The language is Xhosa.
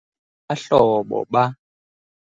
Abahlobo ba